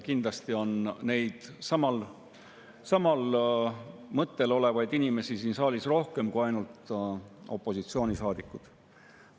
Kindlasti on samal mõttel olevaid inimesi siin saalis rohkem kui ainult opositsioonisaadikud.